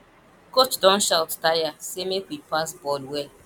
coach don shout tire say make we pass ball well